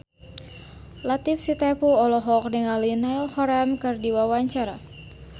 Latief Sitepu olohok ningali Niall Horran keur diwawancara